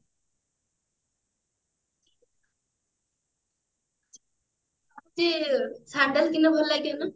ଭାବୁଛି sandal କିଣିଲେ ଭଲ ଲାଗିବ ନା